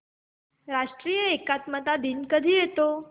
राष्ट्रीय एकात्मता दिन कधी येतो